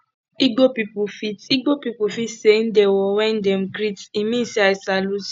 igbo people fit igbo people fit say ndewo when dem greet e mean i salute you